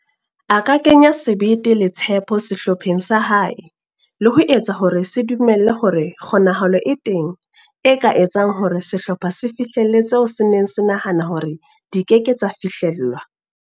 A ka kenya sebete le tshepo sehlopheng sa hae le ho etsa hore se dumele hore kgonahalo e teng e ka etsang hore sehlopha se fihlelle tseo se neng se hanaha hore di ke ke tsa fihlellwa.